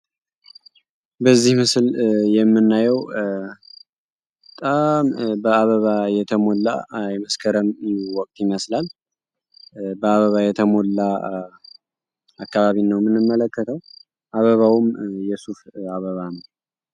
በዚህ ምስል የምናየዉ በጣም በአበባ የተሞላ የመስከረም ወቅት ይመስላል ።በአበባ የተሞላ አካባቢን ነዉ የምንመለከተዉ አበባዉም የሱፍ አበባ ነዉ።